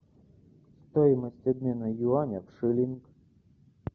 стоимость обмена юаня в шиллинг